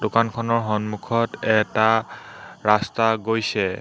দোকানখনৰ সন্মুখত এটা ৰাস্তা গৈছে।